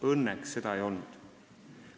Õnneks ei olnud.